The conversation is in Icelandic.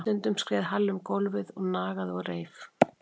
Stundum skreið Halli um gólfið og nagaði og reif og það var allt í lagi.